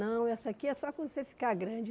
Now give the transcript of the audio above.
Não, essa aqui é só quando você ficar grande.